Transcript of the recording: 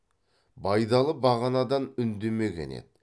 байдалы бағанадан үндемеген еді